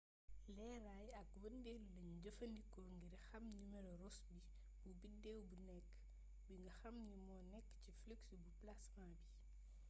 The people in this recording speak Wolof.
leeraay ak wëndeelu lañu jëfandikoo ngir xam nimero rossby bu bideew bu nekk bi nga xam ni moo nekk ci flux bu plasma bi